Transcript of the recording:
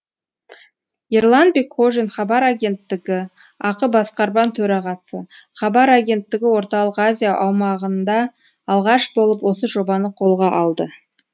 ерлан бекхожин хабар агенттігі ақ басқарма төрағасы хабар агенттігі орталық азия аумағында алғаш болып осы жобаны қолға алды